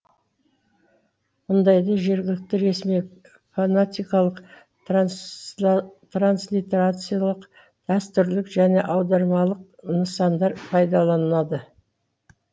мұндайда жергілікті ресми фанатикалық транслитерациялық дәстүрлік және аудармалық нысандар пайдаланылады